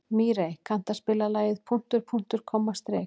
Mírey, kanntu að spila lagið „Punktur, punktur, komma, strik“?